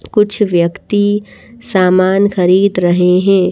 कुछ व्यक्ति सामान खरीद रहे हैं ।